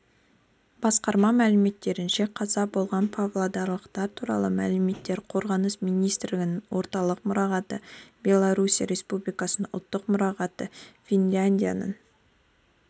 басқарма мәліметтерінше қаза болған павлодарлықтар туралы мәліметтер қорғаныс министрлігінің орталық мұрағаты беларусия республикасының ұлттық мұрағаты финляндияның